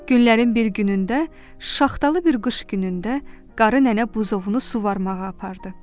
Günlərin bir günündə, şaxtalı bir qış günündə qarı nənə buzovunu suvarmağa apardı.